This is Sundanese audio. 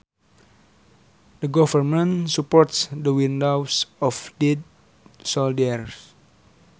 The government supports the widows of dead soldiers